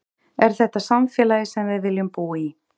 Er þetta samfélagið sem við viljum búa í?